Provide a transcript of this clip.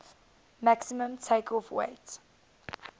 maximum takeoff weight